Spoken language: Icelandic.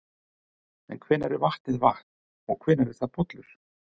En hvenær er vatnið vatn og hvenær er það pollur?